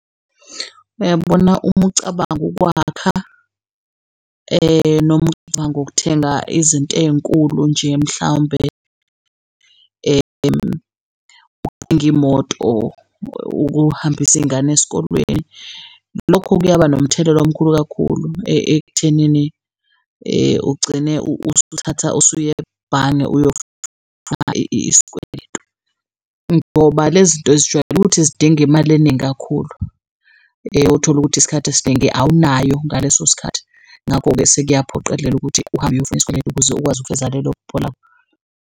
Uyabona uma ucabanga ukwakha noma ucabanga ukuthenga izinto ey'nkulu nje mhlawumbe imoto ukuhambisa iy'ngane esikolweni. Lokho kuyaba nomthelela omkhulu kakhulu ekuthenini ugcine usuthatha usuya ebhange isikweletu ngoba lezinto zijwayele ukuthi zidinge imali eningi kakhulu othola ukuthi isikhathi esiningi awunayo ngalesosikhathi. Ngakho-ke sekuyophoqelela ukuthi uhambe uyofuna isikweletu ukuze ukwazi ukufeza lelo phupha lakho.